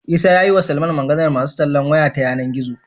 Isa yayi wa Salman Maganar masu tallan waya ta yAna gizo